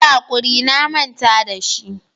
Yi hakuri na manta da shi.